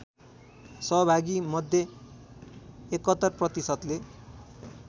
सहभागीमध्ये ७१ प्रतिशतले